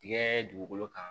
Tigɛ dugukolo kan